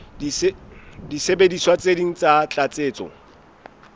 disebediswa tse ding tsa tlatsetso